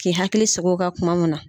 K'i hakili sig'o kan kuma mun na